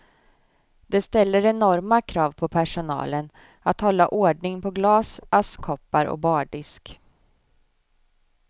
Det ställer enorma krav på personalen att hålla ordning på glas, askkoppar och bardisk.